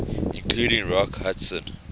including rock hudson